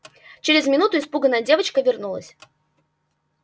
через минуту испуганная девочка вернулась